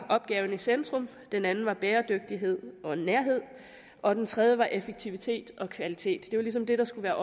opgaven i centrum den anden var bæredygtighed og nærhed og den tredje var effektivitet og kvalitet det var ligesom det der skulle